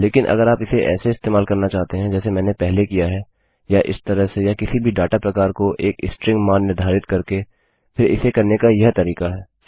लेकिन अगर आप इसे ऐसे इस्तेमाल करना चाहते हैं जैसे मैंने पहले किया है या इस तरह से या किसी भी डाटा प्रकार को एक स्ट्रिंग मान निर्धारित करके फिर इसे करने का यह तरीका है